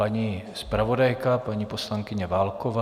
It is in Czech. Paní zpravodajka, paní poslankyně Válková.